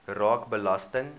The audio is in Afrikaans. raak belasting